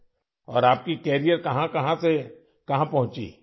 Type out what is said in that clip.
اور آپ کے کیریئر کہاں کہاں سے کہاں پہنچی ؟